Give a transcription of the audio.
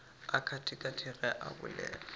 a katakate ge a bolela